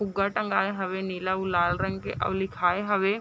फुगा तगाये हवे नीला अउ लाला रंग के अउ लिखाए हवे ।